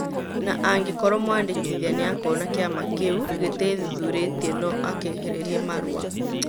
Na angĩkorwo mwandĩkĩthia nĩakona kĩama kĩu gitiethũthũrĩtie no akĩehererrie marũa